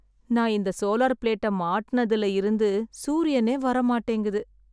நான் இந்த சோலார் பிளேட்டை மாட்டுனதுல இருந்து சூரியனே வரமாட்டேங்குது